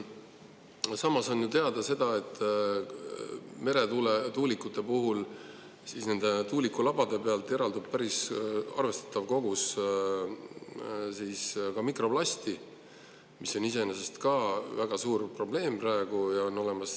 Samas on ju teada, et meretuulikute puhul eraldub tuulikulabade pealt päris arvestatav kogus mikroplasti, mis on iseenesest ka väga suur probleem.